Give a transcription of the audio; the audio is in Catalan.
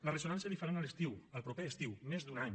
la ressonància la hi faran a l’estiu el proper estiu més d’un any